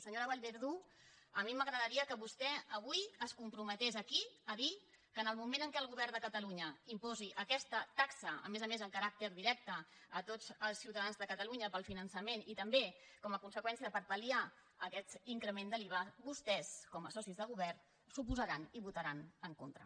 senyora vallverdú a mi m’agradaria que vostè avui es comprometés aquí a dir que en el moment en què el govern de catalunya imposi aquesta taxa a més a més amb caràcter directe a tots els ciutadans de catalunya per al finançament i també com a conseqüència per pal·liar aquest increment de l’iva vostès com a socis de govern s’hi oposaran i hi votaran en contra